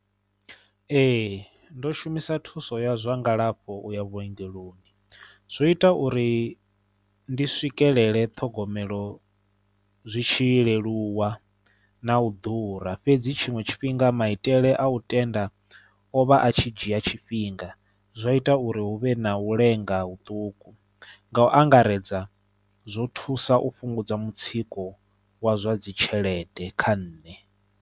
Ee ndo shumisa thuso ya zwa ngalafho uya vhuongeloni zwo ita uri ndi swikelele ṱhogomelo zwitshi leluwa na u ḓura fhedzi tshiṅwe tshifhinga maitele a u tenda o vha a tshi dzhia tshifhinga zwa ita uri huvhe na u lenga huṱuku nga u angaredza zwo thusa u fhungudza mutsiko wa zwa dzi tshelede kha nṋe.